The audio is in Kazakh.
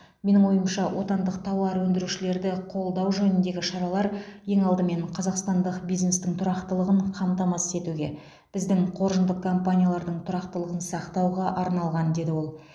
менің ойымша отандық тауар өндірушілерді қолдау жөніндегі шаралар ең алдымен қазақстандық бизнестің тұрақтылығын қамтамасыз етуге біздің қоржындық компаниялардың тұрақтылығын сақтауға арналған деді ол